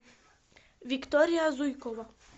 виктория зуйкова